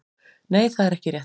Nei það er ekki rétt.